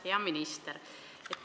Hea minister!